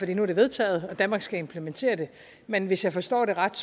det nu er vedtaget og danmark skal implementere det men hvis jeg forstår det ret